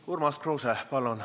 Urmas Kruuse, palun!